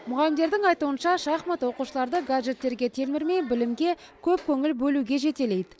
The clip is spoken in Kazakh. мұғалімдердің айтуынша шахмат оқушыларды гаджеттерге телмірмей білімге көп көңіл бөлуге жетелейді